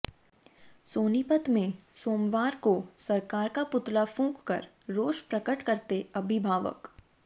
सोनीपत में सोमवार को सरकार का पुतला फूंक कर रोष प्रकट करते अभिभावक